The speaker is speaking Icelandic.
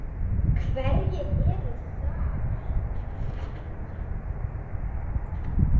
Hverjir eru þar?